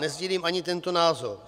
Nesdílím ani tento názor.